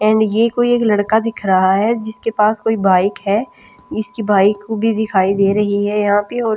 and ये कोई एक लड़का दिख रहा है जिसके पास कोई बाइक है इसकी बाइक को भी दिखाई दे रही है यहाँ पे और--